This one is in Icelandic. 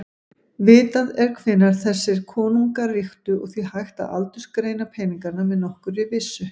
Vitað er hvenær þessir konungar ríktu og því hægt að aldursgreina peningana með nokkurri vissu.